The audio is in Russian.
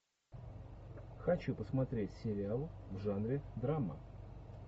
хочу посмотреть сериал в жанре драма